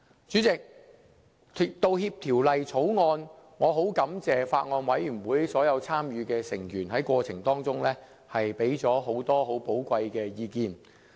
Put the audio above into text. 主席，就《條例草案》，我十分感謝法案委員會所有參與的成員在過程中，提供很多很寶貴的意見。